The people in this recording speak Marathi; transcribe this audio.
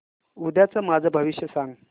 उद्याचं माझं भविष्य सांग